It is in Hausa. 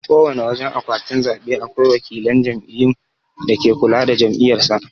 Kowana wajan akwatin zabe akwai wakilan jam'iyyu dake kula da jam'iyyar sa.